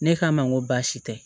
Ne k'a ma n ko baasi tɛ